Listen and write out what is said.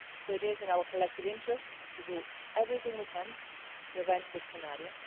So it is in our collective interest to do everything we can to prevent this scenario.